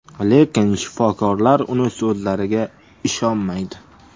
Lekin shifokorlar uning so‘zlariga ishonmaydi.